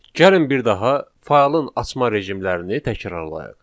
Gəlin bir daha faylın açma rejimlərini təkrarlayaq.